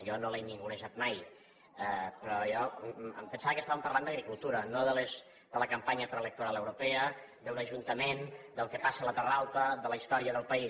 jo no l’he ningunejat mai però jo em pensava que estàvem parlant d’agricultura no de la campanya preelectoral europea d’un ajuntament del que passa a la terra alta de la història del país